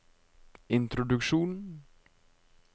introduksjon